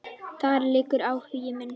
Þar liggur áhugi minn.